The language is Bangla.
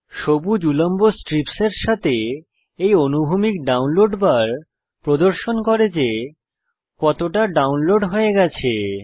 সবুজ উল্লম্ব স্ট্রিপস এর সাথে এই অনুভূমিক ডাউনলোড বার প্রদর্শন করে যে কতটা ডাউনলোড হয়ে গেছে